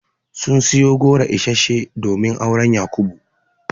Sun siyo goro isasshe domin auren Yakubu.